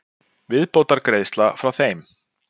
Viðbótargreiðsla frá þeim.